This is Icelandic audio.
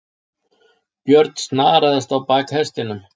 Björn snaraðist á bak hestinum.